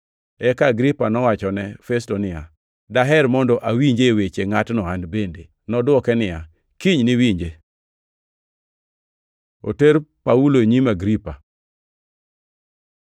Eka Agripa nowachone Festo niya, “Daher mondo awinje weche ngʼatno an bende.” Nodwoke niya, “Kiny niwinje.” Oter Paulo e nyim Agripa